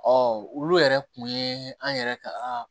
olu yɛrɛ kun ye an yɛrɛ ka